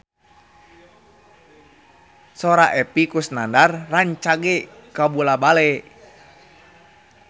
Sora Epy Kusnandar rancage kabula-bale